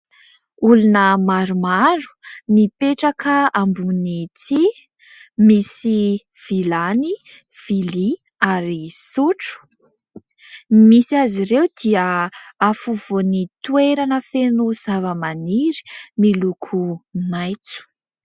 Olona maromaro mipetraka ambony tsihy, misy vilany, vilia ary sotro. Ny misy azy ireo dia afovoan'ny toerana feno zavamaniry miloko maitso.